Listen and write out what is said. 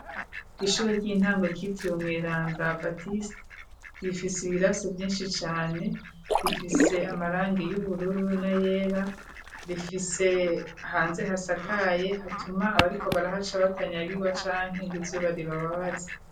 Ishuri ry'intango ryitiriwe mweranda batista bifise ibirasi vyinshi cane rifise amaranga y'ubururu na yera rifise hanze hasakaye hatuma abariko baraha ca batanya agirwa canke ngo izuba ribababaze.